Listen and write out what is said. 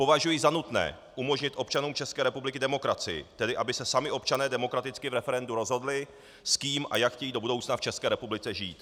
Považuji za nutné umožnit občanům České republiky demokracii, tedy aby se sami občané demokraticky v referendu rozhodli, s kým a jak chtějí do budoucna v České republice žít.